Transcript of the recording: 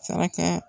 Sara kɛ